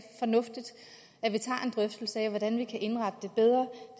fornuftigt at vi tager en drøftelse af hvordan vi kan indrette det bedre